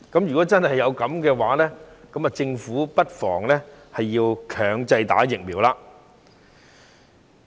如果真的是這樣，政府不妨推行強制注射疫苗。